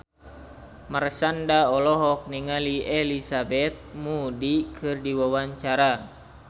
Marshanda olohok ningali Elizabeth Moody keur diwawancara